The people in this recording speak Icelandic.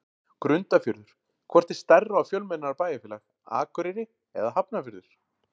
Grundarfjörður Hvort er stærra og fjölmennara bæjarfélag, Akureyri eða Hafnarfjörður?